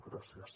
gràcies